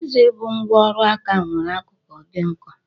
Chisel bụ ngwá ọrụ aka nwere akụkụ dị nkọ.